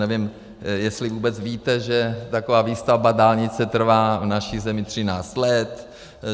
Nevím, jestli vůbec víte, že taková výstavba dálnice trvá v naší zemi 13 let.